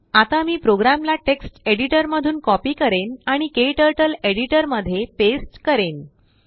आता मी प्रोग्रामला टेक्स्ट एडिटरमधून कॉपी करेन आणिKTurtleएडिटरमध्ये पेस्ट करेन